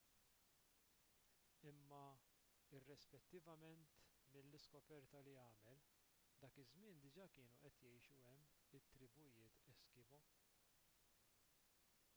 imma irrispettivament minn l-iskoperta li għamel dak iż-żmien diġà kienu qed jgħixu hemm it-tribujiet eskimo